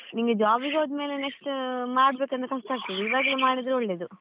ನಿಂಗೆ job ಗೆ ಹೋದ್ಮೇಲೆ next ಮಾಡ್ಬೇಕಂದ್ರೆ ಕಷ್ಟ ಆಗ್ತದೆ, ಇವಾಗ್ಲೆ ಮಾಡಿದ್ರೆ ಒಳ್ಳೇದು.